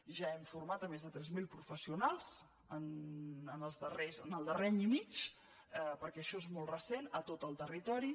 ja hem format més de tres mil professio nals en el darrer any i mig perquè això és molt recent a tot el territori